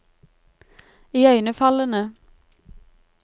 iøynefallende